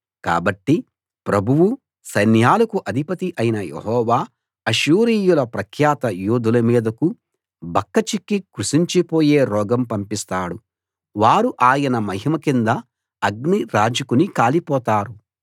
కాబట్టి ప్రభువూ సైన్యాలకు అధిపతి అయిన యెహోవా అష్షూరీయుల ప్రఖ్యాత యోధుల మీదకు బక్కచిక్కి కృశించిపోయే రోగం పంపిస్తాడు వారు ఆయన మహిమ కింద అగ్ని రాజుకుని కాలిపోతారు